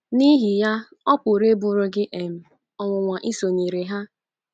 N’ihi ya, ọ pụrụ ịbụrụ gị um ọnwụnwa isonyere ha.